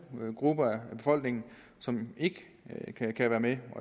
nogle grupper i befolkningen som ikke kan være med